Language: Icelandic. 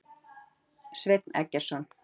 Sveinn Eggertsson.